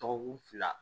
Dɔgɔkun fila